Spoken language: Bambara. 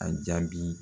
A jaabi